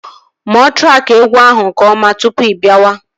Mụọ traki egwu ahụ nke ọma tụpụ ibiawa